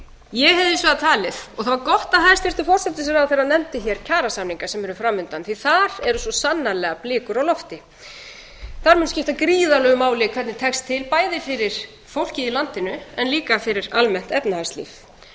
ég hefði hins vegar talið og það var gott að hæstvirtur forsætisráðherra nefndi hér kjarasamninga sem eru hér framundan því að þar eru svo sannarlega blikur á lofti þar mun skipta gríðarlegu máli hvernig tekst til bæði fyrir fólkið í landinu en líka fyrir almennt efnahagslíf